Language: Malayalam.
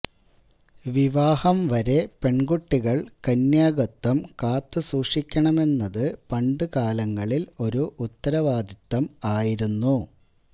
വിവാഹം വരെ പെണ്കുട്ടികള് കന്യാകത്വം കാത്തുസൂക്ഷിക്കണമെന്നത് പണ്ടുകാലങ്ങളില് ഒരു ഉത്തരവാദിത്തം ആയിരുന്നു